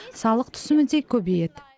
салық түсімі де көбейеді